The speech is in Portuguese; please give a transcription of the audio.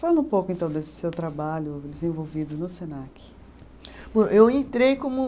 Fala um pouco, então, desse seu trabalho desenvolvido no Senac. Bom, eu entrei como